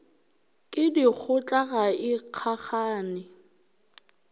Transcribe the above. ke dikgotla ga e kgakgane